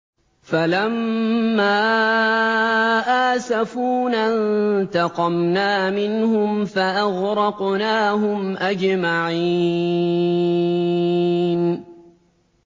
فَلَمَّا آسَفُونَا انتَقَمْنَا مِنْهُمْ فَأَغْرَقْنَاهُمْ أَجْمَعِينَ